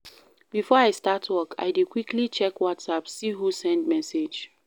Before I start work, I dey quickly check WhatsApp see who send message.